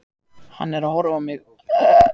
Hann er að horfa á mig.